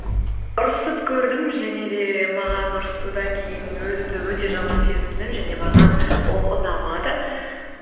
ұрысып көрдім және де маған ұрысудан кейін өзімді өте жаман сезіндім және маған ол ұнамады